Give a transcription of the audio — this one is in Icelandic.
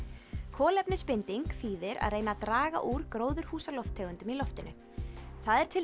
kolefnisbinding þýðir að reyna að draga úr gróðurhúsalofttegundum í loftinu það er til